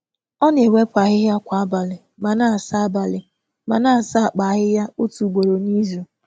Ọ na-ewepụ ahịhịa kwa abalị ma na-asa abalị ma na-asa akpa ahịhịa otu ugboro n’izu.